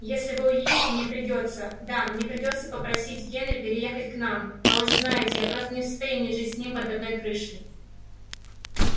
если вы уедете мне придётся да мне придётся просить генри переехать к нам а вы же знаете я просто не в состоянии жить с ним под одной крышей